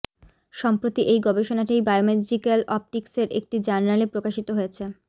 সম্প্রতি এই গবেষণাটি বায়োমেজিক্যাল অপটিকস্ এর একটি জার্নালে প্রকাশিত হয়েছে